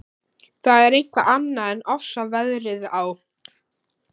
Það er eitthvað annað en ofsaveðrið á